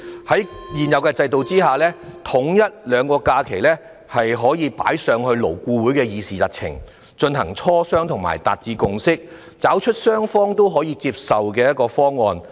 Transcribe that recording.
在現有制度下，統一兩種假期可以列入勞工顧問委員會的議程，以便進行磋商並達致共識，尋求雙方均可以接受的方案。